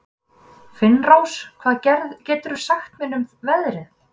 Finnrós, hvað geturðu sagt mér um veðrið?